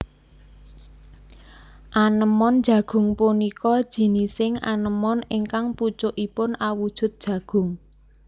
Anémon jagung punika jinising anémon ingkang pucukipun awujud jagung